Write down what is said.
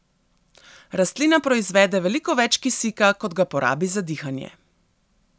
Rastlina proizvede veliko več kisika, kot ga porabi za dihanje.